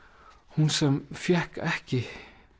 hún sem fékk ekki